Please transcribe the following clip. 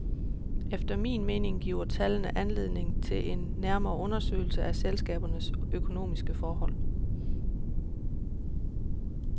Efter min mening giver tallene anledning til en nærmere undersøgelse af selskabernes økonomiske forhold.